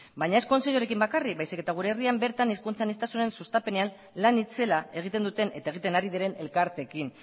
baina ez kontseiluarekin bakarrik baizik eta gure herrian bertan hizkuntza aniztasunaren sustapenean lan itzela egiten duten eta egiten ari diren elkarteekin